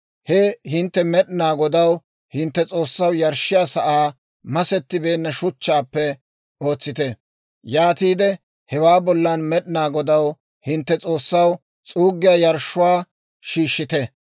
He hintte Med'inaa Godaw, hintte S'oossaw, yarshshiyaa sa'aa masettibeenna shuchchaappe ootsite; yaatiide hewaa bollan Med'inaa Godaw, hintte S'oossaw, s'uuggiyaa yarshshuwaa shiishshite.